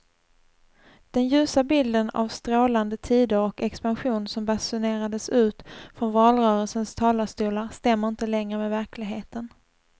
Den ljusa bilden av strålande tider och expansion som basunerades ut från valrörelsens talarstolar stämmer inte längre med verkligheten.